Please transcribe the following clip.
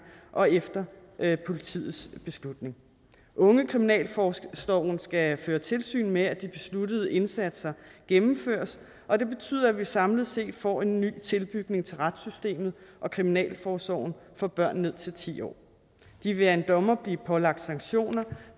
og efter politiets beslutning ungekriminalforsorgen skal føre tilsyn med at de besluttede indsatser gennemføres og det betyder at vi samlet set får en ny tilbygning til retssystemet og kriminalforsorgen for børn ned til ti år de vil af en dommer blive pålagt sanktioner